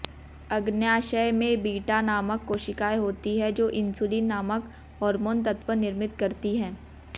अग्न्याशय में बीटा नामक कोशिकाएं होती हैं जो इंसुलिन नामक हार्मोन तत्व निर्मित करती हैं